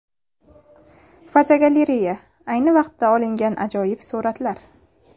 Fotogalereya: Ayni vaqtida olingan ajoyib suratlar.